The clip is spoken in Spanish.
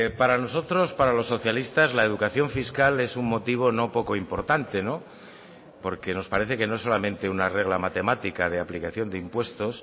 para nosotros para los socialistas la educación fiscal es un motivo no poco importante porque nos parece que no solamente una regla matemática de aplicación de impuestos